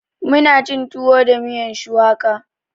Muna cin tuwo da miyan shuwaka